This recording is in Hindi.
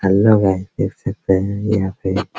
हेलो गाइज देख सकते हैं यहां पे --